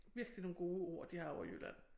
Virkelig nogle gode ord de har ovre i Jylland